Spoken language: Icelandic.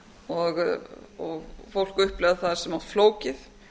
og fólk upplifað það of flókið